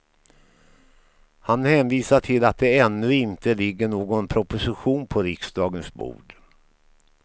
Han hänvisar till att det ännu inte ligger någon proposition på riksdagens bord.